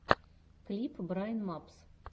клип брайн мапс